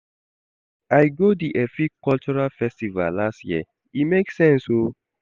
I go di Efik cultural festival last year, e make sense o.